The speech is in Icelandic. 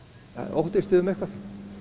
óttist þið um eitthvað